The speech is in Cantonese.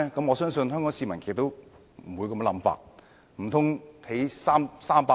我相信香港市民亦不會有這種想法。